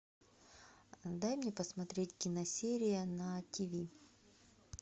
дай мне посмотреть киносерия на тв